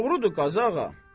Doğrudur, Qazı ağa.